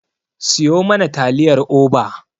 Siyo mana taliyar Oba.